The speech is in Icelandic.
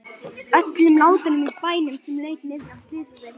Öllum látunum í bænum sem lauk niðri á Slysadeild.